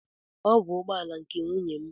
Ọ bụ ụgbọala nke nwunye m